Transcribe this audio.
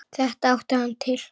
Þetta átti hann til.